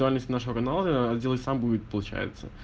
индивидуальность нашего канала отделывать сам будет получаться